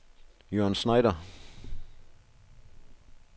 Jørn Schneider